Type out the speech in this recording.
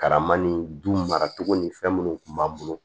Karama ni du maracogo ni fɛn minnu tun b'an bolo